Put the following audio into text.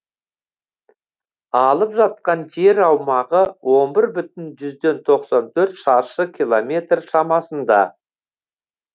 алып жатқан жер аумағы он бір бүтін жүзден тоқсан төрт шаршы километр шамасында